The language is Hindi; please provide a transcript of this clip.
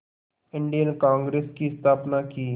इंडियन कांग्रेस की स्थापना की